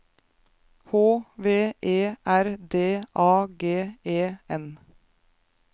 H V E R D A G E N